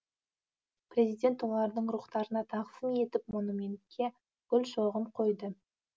президент олардың рухтарына тағзым етіп монументке гүл шоғын қойды